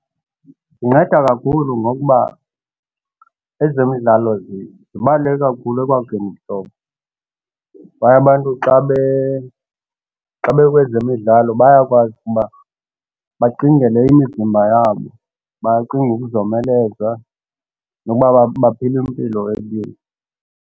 Zinceda kakhulu ngokuba ezemidlalo zibaluleke kakhulu ekwakheni ubuhlobo kwaye abantu xa xa bekwezemidlalo bayakwazi ukuba bacingele imizimba yabo bacinge ukuzomeleza nokuba baphile impilo